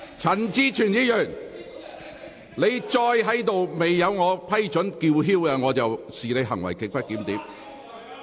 陳志全議員，如果你未經我批准繼續高聲說話，我會視你為行為極不檢點。